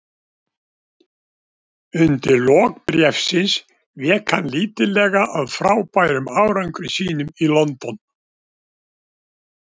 Undir lok bréfsins vék hann lítillega að frábærum árangri sínum í London.